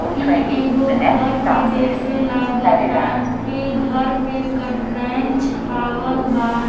ई एगो घर के जैसे लागत ता। ई घर पे केटरैन छावल बा।